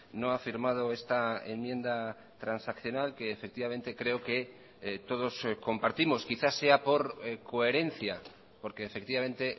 no ha firmado esta enmienda transaccional que efectivamente creo que todos compartimos quizás sea por coherencia porque efectivamente